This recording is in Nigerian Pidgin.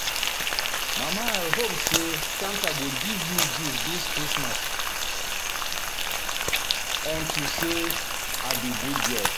Mama I hope say santa go give me gift dis christmas unto say I be good girl